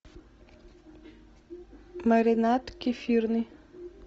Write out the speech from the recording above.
маринад кефирный